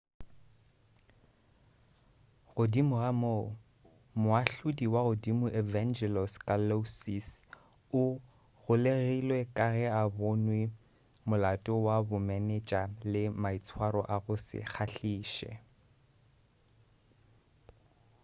godimo ga moo moahlodi wa godimo evangelos kalousis o golegilwe ka ge a bonwe molato wa bomenetša le maitshwaro a go se kgahliše